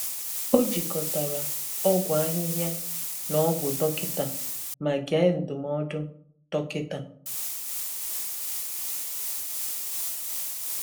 Ọ jikọtara ọgwụ ahịhịa na ọgwụ dọkịta ma gee ndụmọdụ dọkịta.